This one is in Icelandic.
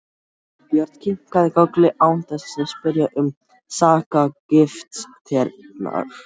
Sveinbjörn kinkaði kolli án þess að spyrja um sakargiftirnar.